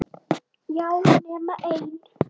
Já, nema ein!